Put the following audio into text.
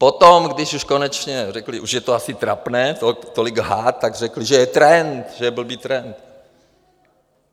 Potom, když už konečně řekli, už je to asi trapné tolik lhát, tak řekli, že je trend, že je blbý trend.